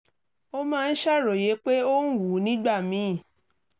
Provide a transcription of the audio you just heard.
ó máa ń ṣàròyé pé ó ń wú nígbà míì